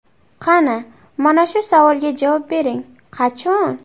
Qani, mana shu savolga javob bering, qachon?